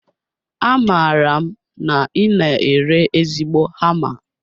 Amaara m na I na ere ezigbo hama